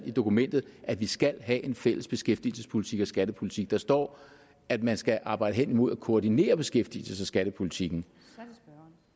i dokumentet at vi skal have en fælles beskæftigelsespolitik og skattepolitik der står at man skal arbejde hen imod at koordinere beskæftigelses og skattepolitikken